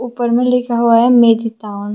ऊपर में लिखा हुआ है मेडिटाऊन ।